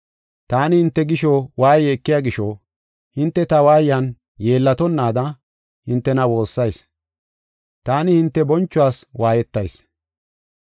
Taani hinte gisho waaye ekiya gisho, hinte ta waayan yeellatonnaada hintena woossayis; taani hinte bonchuwas waayetayis.